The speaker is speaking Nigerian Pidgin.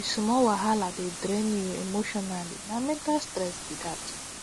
if small wahala dey drain you emotionally na mental stress be that